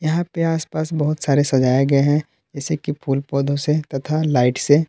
यहां पे आसपास बहुत सारे सजाए गए हैं जैसे कि फूल पौधों से तथा लाइट से।